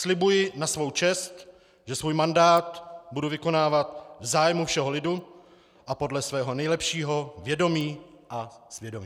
Slibuji na svou čest, že svůj mandát budu vykonávat v zájmu všeho lidu a podle svého nejlepšího vědomí a svědomí.